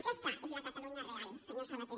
aquest és la catalunya real senyor sabaté